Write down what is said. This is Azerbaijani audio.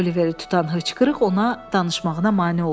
Oliveri tutan hıçqırıq ona danışmağına mane olurdu.